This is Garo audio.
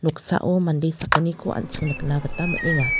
noksao mande sakgniko an·ching nikna gita man·enga.